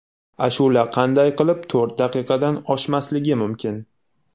Ashula qanday qilib to‘rt daqiqadan oshmasligi mumkin.